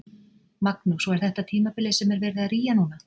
Magnús: Og er þetta tímabilið sem er verið að rýja núna?